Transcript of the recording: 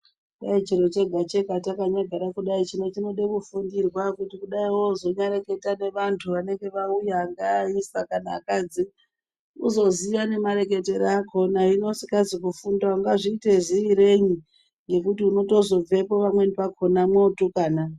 Dai chiro chega-chega takanyagara kudai chinoda kufundirwa kuti kudai wozonyareketa nevantu vanenge vauya angaa aisa kana akadzi uzoziya nemareketere akhona, hino usikazi kufunda ungazviite ziireyi ngekuti unotozobvepo pamweni yakhona mwootukana.